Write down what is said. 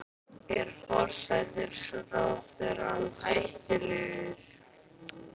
Er forsætisráðherra hættulegur?